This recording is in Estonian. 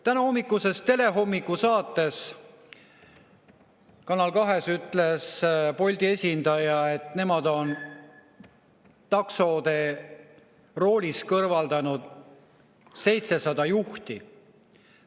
Tänahommikuses "Telehommiku" saates Kanal 2‑s ütles Bolti esindaja, et nemad on taksode roolist kõrvaldanud 700 juhti.